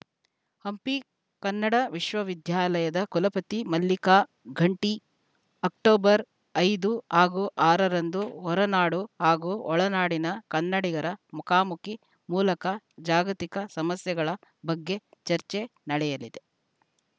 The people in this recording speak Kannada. ಹಂಪಿ ಕನ್ನಡ ವಿಶ್ವವಿದ್ಯಾಲಯದ ಕುಲಪತಿ ಮಲ್ಲಿಕಾ ಘಂಟಿ ಅಕ್ಟೋಬರ್ ಐದು ಹಾಗೂ ಆರ ರಂದು ಹೊರ ನಾಡು ಹಾಗೂ ಒಳನಾಡಿನ ಕನ್ನಡಿಗರ ಮುಖಾಮುಖಿ ಮೂಲಕ ಜಾಗತಿಕ ಸಮಸ್ಯೆಗಳ ಬಗ್ಗೆ ಚರ್ಚೆ ನಡೆಯಲಿದೆ